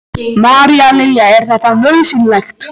María Lilja: Er þetta nauðsynlegt?